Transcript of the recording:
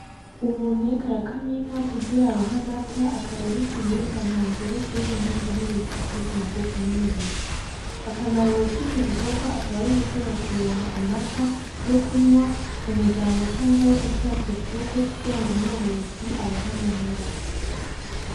Umuntu ariko arakama inka kugira aronke amata akaba ari ikiribwa nta ngere kirimwo intungamubiri zikomeza amagufa ni umubiri akamaro kico gikorwa akaba ari ugushobora kuronka amata yo kunwa mu muryango canke ayo gushira ku isoko kugirango umworozi aronke amahera.